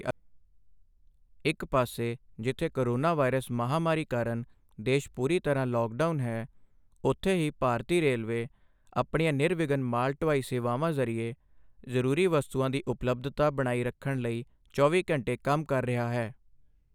ਇੱਕ ਪਾਸੇ ਜਿੱਥੇ ਕੋਰੋਨਾ ਵਾਇਰਸ ਮਹਾਮਾਰੀ ਕਾਰਨ ਦੇਸ਼ ਪੂਰੀ ਤਰ੍ਹਾਂ ਲੌਕਡਾਊਨ ਹੈ, ਉੱਥੇ ਹੀ ਭਾਰਤੀ ਰੇਲਵੇ ਆਪਣੀਆਂ ਨਿਰਵਿਘਨ ਮਾਲ ਢੁਆਈ ਸੇਵਾਵਾਂ ਜ਼ਰੀਏ ਜ਼ਰੂਰੀ ਵਸਤਾਂ ਦੀ ਉਪਲੱਬਧਤਾ ਬਣਾਈ ਰੱਖਣ ਲਈ ਚੌਵੀ ਘੰਟੇ ਕੰਮ ਕਰ ਰਿਹਾ ਹੈ।